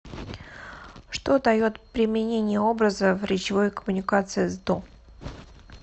что дает применение образа в речевой коммуникации сдо